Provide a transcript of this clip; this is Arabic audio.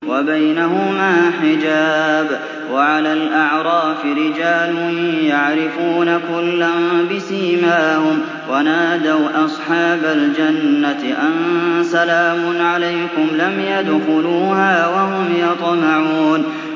وَبَيْنَهُمَا حِجَابٌ ۚ وَعَلَى الْأَعْرَافِ رِجَالٌ يَعْرِفُونَ كُلًّا بِسِيمَاهُمْ ۚ وَنَادَوْا أَصْحَابَ الْجَنَّةِ أَن سَلَامٌ عَلَيْكُمْ ۚ لَمْ يَدْخُلُوهَا وَهُمْ يَطْمَعُونَ